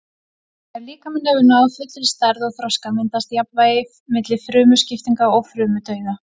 Þegar líkaminn hefur náð fullri stærð og þroska myndast jafnvægi milli frumuskiptinga og frumudauða.